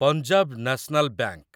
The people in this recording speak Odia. ପଞ୍ଜାବ ନ୍ୟାସନାଲ୍ ବାଙ୍କ